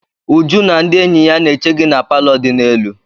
Uju na ndị enyi ya na-eche gi na palọ di n'elu.